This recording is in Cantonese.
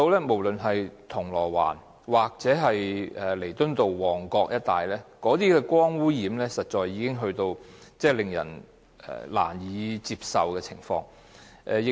無論是銅鑼灣或旺角彌敦道一帶，光污染已達到令人難以接受的程度。